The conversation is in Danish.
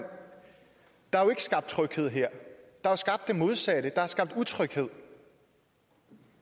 der er jo skabt tryghed her der er skabt det modsatte der er skabt utryghed